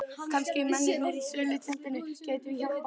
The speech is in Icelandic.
Kannski mennirnir í sölutjaldinu gætu hjálpað til við það.